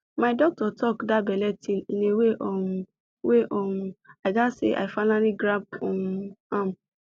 my doctor talk the belle thing in way um wey um i gatz say i finally grab um am